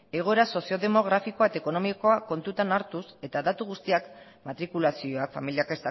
egoera sozio demografikoa eta ekonomikoa kontutan hartuz eta datu guztiak matrikulazioa familiak